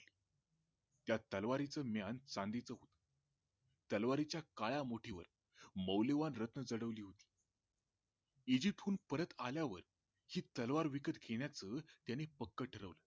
त्या तलवारीच म्यान चांदीच होते त्या तलवारीच्या काळ्या मुठीवर मौल्यवान रत्ने जडविली होती इजिप्तहून परत आल्यावर ती तलवार विकत घेण्याचे त्याने पक्क ठरविले